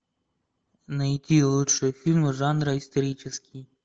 найти лучшие фильмы жанра исторический